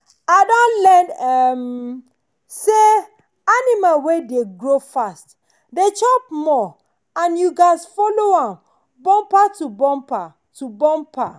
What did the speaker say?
i don learn um say animal wey dey grow fast dey chop more and you gats dey follow am bumper to bumper. to bumper.